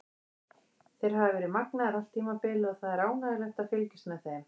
Þeir hafa verið magnaðir allt tímabilið og það er ánægjulegt að fylgjast með þeim.